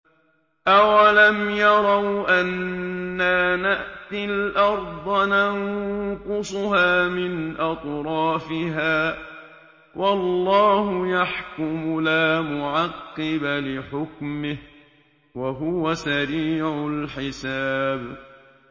أَوَلَمْ يَرَوْا أَنَّا نَأْتِي الْأَرْضَ نَنقُصُهَا مِنْ أَطْرَافِهَا ۚ وَاللَّهُ يَحْكُمُ لَا مُعَقِّبَ لِحُكْمِهِ ۚ وَهُوَ سَرِيعُ الْحِسَابِ